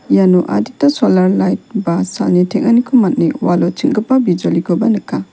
iano adita solar lait ba salni teng·aniko mane walo ching·gipa bijolikoba nika.